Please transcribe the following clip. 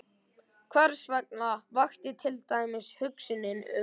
Hversvegna vakti til dæmis hugsunin um